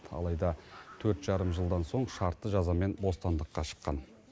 алайда төрт жарым жылдан соң шартты жазамен бостандыққа шыққан